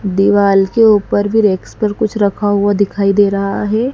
दीवाल के ऊपर भी रेक्स पर कुछ रखा हुआ दिखाई दे रहा है।